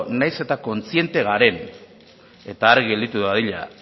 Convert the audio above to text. nahiz eta kontziente garen eta argi gelditu dadila